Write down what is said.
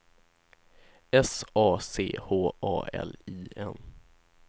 S A C H A L I N